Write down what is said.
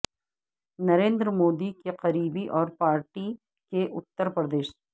نریندر مودی کے قریبی اور پارٹی کے اتر پردیش